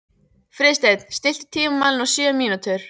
Friðsteinn, stilltu tímamælinn á sjö mínútur.